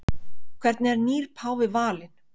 Hvernig er nýr páfi valinn?